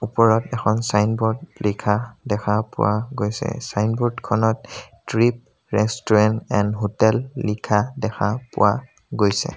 ওপৰত এখন ছাইনবোৰ্ড লিখা দেখা পোৱা গৈছে ছাইনবোৰ্ডখনত তৃপ ৰেষ্টুৰেণ্ট এণ্ড হোটেল লিখা দেখা পোৱা গৈছে।